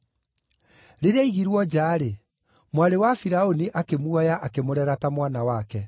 Rĩrĩa aigirwo nja-rĩ, mwarĩ wa Firaũni akĩmuoya akĩmũrera ta mwana wake.